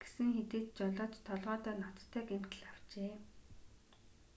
гэсэн хэдий ч жолооч толгойдоо ноцтой гэмтэл авчээ